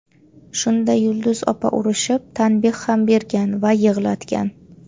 Shunda Yulduz opa urishib, tanbeh ham bergan va yig‘latgan.